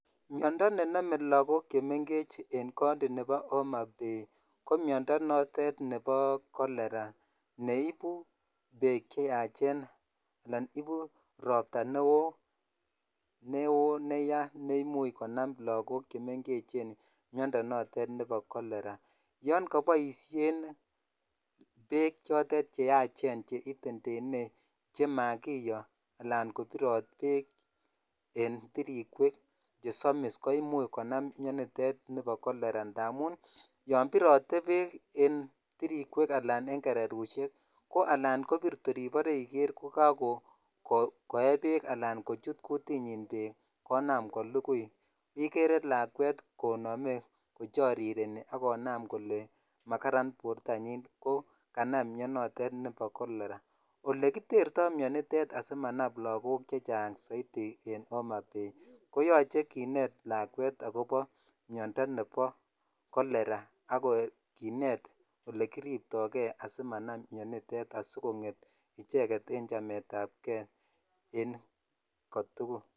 Miondoo ne nome lokok chemengech en kounti nebo homa Bay ko Miondoo notet nebo coleraa neibu bek ch yachen ala Ibu roptaa neo neya ne imuch konam lakok chemengech Miondoo notet nebo colera tan koboishen bek chotet che yachen chetetene che makiyooala kobirot bek en tiritaa chesomis ko imuch konam Mionditet nebo kolera indamun yon birotee bek en tirikwek ala gererushek ko alan kobir tor ibor iger ko kakoye bek ala kochut kutinyen bek konam kolukui igere lakwet kocoriren ak konam kole makaran bortanyin ko kanam mionotet nebo kolera ole kiterto mionitet asimanam lakok soiti en homa Bay ko yoche kinet lajwet akobo Miondoo nebo kolera ak kinet olekiripto kei asimanam mionitet sikonget icheget en chamet ab kei en kotugul.